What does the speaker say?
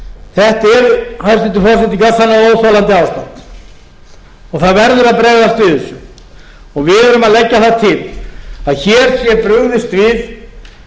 þetta er hæstvirtur forseti gjörsamlega óþolandi ástand og það verður að bregðast við þessu við erum að leggja það til að hér sé brugðist við